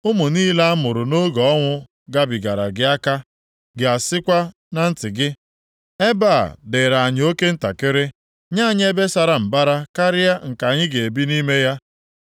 Ụmụ niile a mụrụ nʼoge ọnwụ gbabara gị aka, + 49:20 Ndị a nọ na mba ọzọ mụọ ga-alọta ga-asịkwa na ntị gị, ‘Ebe a dịrị anyị oke ntakịrị, nye anyị ebe sara mbara karịa nke anyị ga-ebi nʼime ya.’